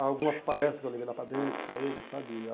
Algumas palestras que eu levei lá para dentro para eles, sabe?